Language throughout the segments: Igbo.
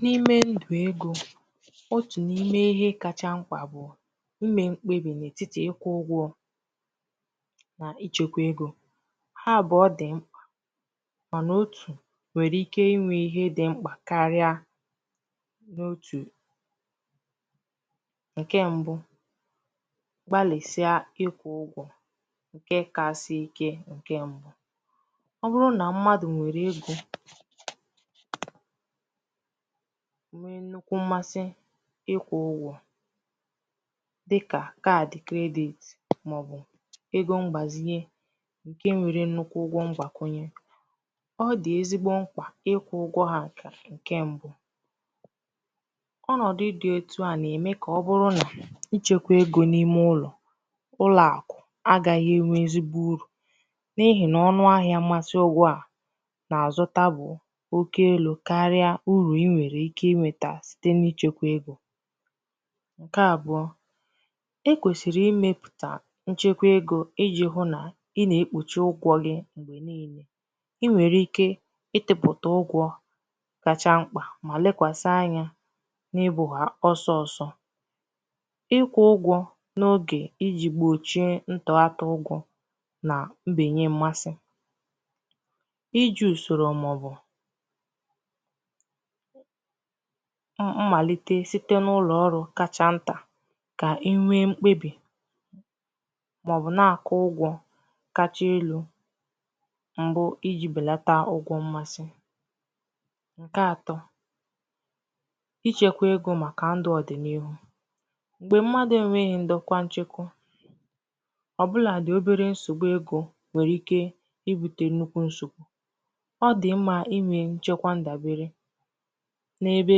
n’ime ndụ̀ egō otù n’ime ihe kacha mkpà bụ̀ ime mkpebì n’ètitì ị kwụ̄ ụgwọ̄ nà ịchụ̄kwā egō ha àbụọ dị mkpà mà nà otù wèrè ike inwē ihe di mkpà karịa n’otù ǹkè m̀bụ gbalìsià ịkwụ̄ ụgwọ̄ ǹkè kàsị̀ ike ǹkè m̀bụ ọ bụrụ nà mmadụ̀ nwèrè egō nwee nnukwu mmasị ị kwụ̄ ugwọ̄ dịkà card credit màọbụ̀ egō mgbàzinye ǹkè nwere nnukwu ụgwọ̄ mgbàkwunye ọ dị̀ ezigbo mkpà ịkwụ̄ ụgwọ̄ ha kà ǹkè m̀bụ ọnọ̀dụ̀ di etù a nà-ème kà ọ bụrụ nà ichēkwā egō n’ime ụlọ̀ ụlọ̀àkụ̀ àgaghị̄ ènwe ezigbo urù n’ihì nà ọnụ ahịā masi ụgwọ̄ a nà-àzụta bụ̀ oke elū karịa urù i nwèrè ikē inwētā sita n’ichēkwā egō ǹkè àbụọ e kwèsìrì imēpụ̀tà nchekwa egō ijī hụ nà ị nà-èkpùchi ụgwọ̄ gi m̀gbè niilē ị nwèrè ike ịtụ̄pụ̀tà ụgwọ̄ kacha mkpà mà lekwàsi anya n’ịbụ̄ ha osoosō ị kwụ̄ ụgwọ̄ n’ogè ijī gbòchie ntụata ụgwọ̄ nà mbènye mmasị ijī ùsòrò màọbụ̀ mmàlìte site n’ụlọ̀ ọrụ kacha ntà kà inwee mkpebì màọbụ̀ na-àkwụ ụgwọ̄ kacha elū m̀bụ ijī wee bèlata ụgwọ̄ mmasị ǹkè atọ̄ ichēkwā egō màkà ndụ̀ òdị̀ n’ihu m̀gbè mmadụ̀ enwēghī ndokwa nchekwa ọ̀bụlàdị obere nsògbu egō nwere ike ibūtē nnukwu nsògbu ọ dị̀ mmā inwē nchekwa ndàbere ebe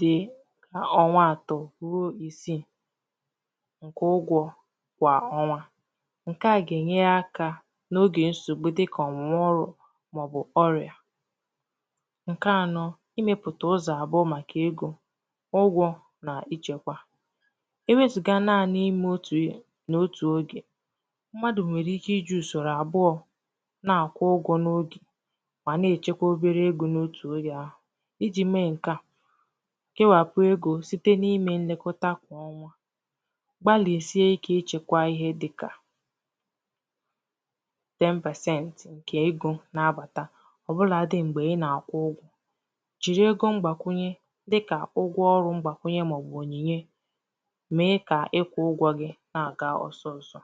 dị̀ ọnwa atọ̄ ruo ìsii ǹkwụ ụgwọ̄ kwà ọnwa ǹkè a gà-ènye aka n’ogè nsògbu dịkà ọ̀nwụ̀wà ọrụ ǹkè ànọ imēpụ̀tà ụzọ̀ àbụọ màkà egō ụgwọ̄ nà ichēkwā ewezùga naanị̄ imē otù ihe n’otù ogè mmadụ̀ nwèrè ike ijī ùsòrò àbụọ nà-àkwụ ụgwọ̄ n’ogè mà nà-èchekwa obere egō n’otù ogè ahụ̀ ijī mee ǹkè a kewàpụ egō site n’ime nlekọta kwà ọnwa gbalìsiè ikē ichēkwā ihe dịkà 10% ǹkè egō nà-abàta ọ̀bụlādị̄ m̀gbè ị nà-àkwụ ugwọ̄ jiri ego mgbàkwùnye dikà ụgwọ̄ ọrụ mgbàkwùnye màọbụ̀ ònyìnye mee kà ịkwụ̄ ụgwọ̄ gi nà-àga osoosō